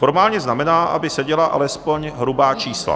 Formálně znamená, aby seděla alespoň hrubá čísla.